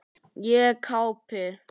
Ég gapi.